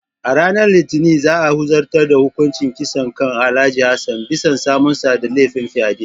A ranar Litinin ne za a zartar da hukuncin kisa kan Alhj. Hassan bisa samunsa da laifin fyade.